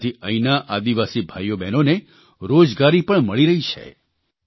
તેનાથી અહીંના આદિવાસી ભાઇઓબહેનોને રોજગારી પણ મળી રહી છે